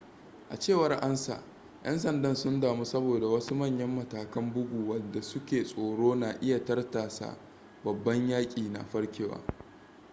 a cewar ansa yan sanda sun damu saboda wasu manyan matakan bugu wadda suke tsoro na iya tartasa babban yaki na farkewa